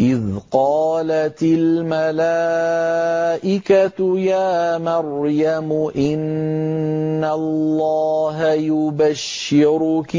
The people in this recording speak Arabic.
إِذْ قَالَتِ الْمَلَائِكَةُ يَا مَرْيَمُ إِنَّ اللَّهَ يُبَشِّرُكِ